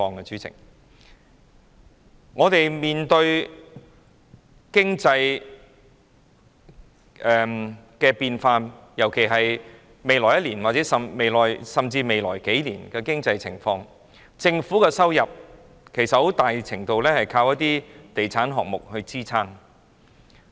香港面對經濟變化，在未來1年或甚至數年，政府的收入其實在很大程度上依靠一些地產項目支撐。